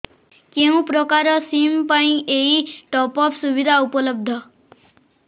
କେଉଁ ପ୍ରକାର ସିମ୍ ପାଇଁ ଏଇ ଟପ୍ଅପ୍ ସୁବିଧା ଉପଲବ୍ଧ